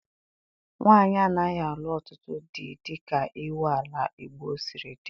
Nwaanyị anaghị alụ ọtụtụ di dịka iwu ala Igbo siri dị.